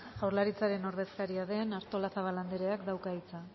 jaurlaritzaren ordezkaria den artolazabal andreak dauka hitza